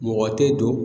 Mɔgɔ tɛ don